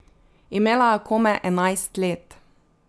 Imela je komaj enajst let.